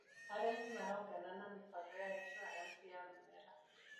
Arĩmi marongana na mibango ya insuaranci ya mĩmera.